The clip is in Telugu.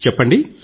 చెప్పండి